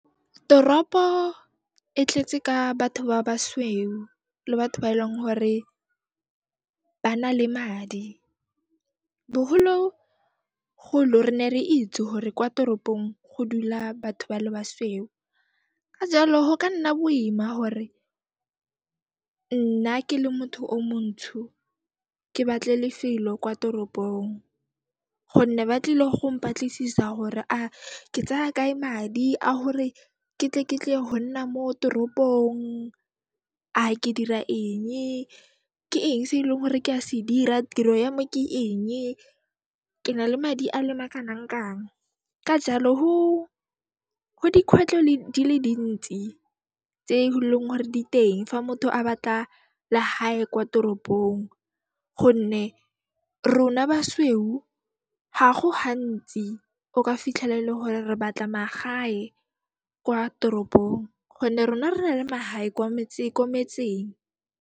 Toropo e tletse ka batho ba basweu le batho ba e leng hore ba na le madi. Bohologolo re ne re itse hore kwa toropong go dula batho ba le basweu, ka jaalo ho ka nna boima hore nna ke le motho o montsho, ke batle lefelo kwa toropong gonne ba tlile go mpatlisisa hore a ke tsaya kae madi a hore ke tle ke tle ho nna mo toropong, a ke dira enge, ke eng se e leng hore ke a se dira, tiro yame ke enge, ke nale madi a le makanangkang. Ka jaalo, ho dikhwetlho di le dintsi tse e leng hore diteng fa motho a batla lehae kwa toropong gonne rona basweu ga go hantsi o ka fitlhela ele hore re batla magae kwa toropong gonne rona re na le mahae kwa metseng, ko metseng.